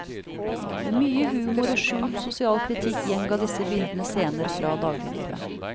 Med mye humor og skjult sosial kritikk gjengav disse bildene scener fra dagliglivet.